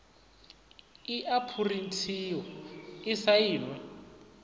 i a phurinthiwa i sainwe